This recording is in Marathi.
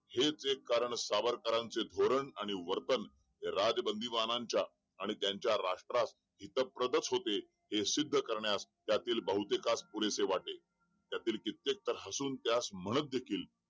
हे जे कारण सावरकारचे धोरण आणि वर्तन हे राज बंदीवानांच्या आणि त्यांच्या राष्ट्रास हितप्रदच होते हे सिद्ध करण्यास त्यातील बहुतेकांस पुरेसे वाटे त्यातील कित्येक तर हसून त्यास म्हणत देखील